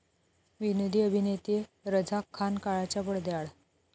विनोदी अभिनेते रझाक खान काळाच्या पडद्याआड